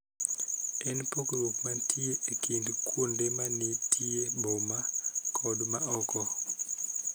En pogruok mantie e kind kuonde ma nitie boma kod ma oko.